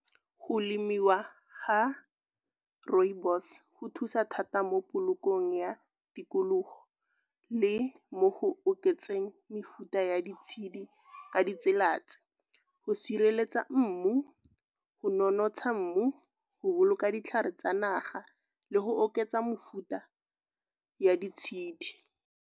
Go lemiwa ga rooibos go thusa thata mo polokong ya tikologo le mo go oketseng mefuta ya ditshedi ka ditsela tse go sireletsa mmu, go nonotsha mmu, go boloka ditlhare tsa naga le go oketsa mofuta ya ditshedi.